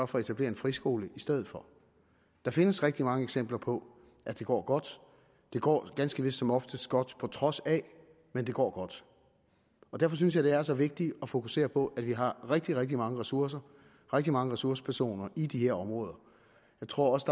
for at etablere en friskole i stedet for der findes rigtig mange eksempler på at det går godt det går ganske vist som oftest godt på trods af men det går godt og derfor synes jeg det er så vigtigt at fokusere på at vi har rigtig rigtig mange ressourcer og rigtig mange ressourcepersoner i de her områder jeg tror også